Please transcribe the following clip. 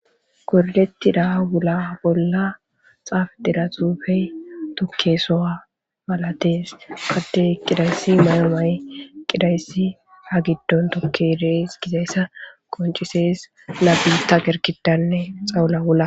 Koroletti daa wula bolla xaaf dira xuufey tokke soa malatees qadde qidayssi mayo may qidayssi ha giddon tokkedees gizayssa qoncisees nabilta gerkidanne xawula wula.